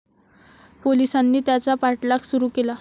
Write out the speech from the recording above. पोलीसांनी त्याचा पाठलाग सुरु केला.